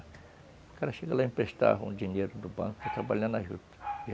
O cara chega lá e emprestava o dinheiro do banco para trabalhar na juta.